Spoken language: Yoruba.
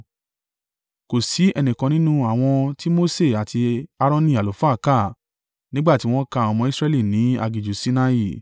Kò sí ẹnìkan nínú àwọn tí Mose àti Aaroni àlùfáà kà nígbà tí wọ́n ka àwọn ọmọ Israẹli ní aginjù Sinai.